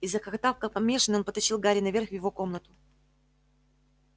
и захохотав как помешанный он потащил гарри наверх в его комнату